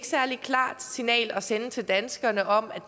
særlig klart signal at sende til danskerne om at